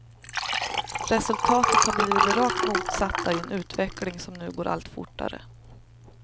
Resultatet har blivit det rakt motsatta i en utveckling som nu går allt fortare.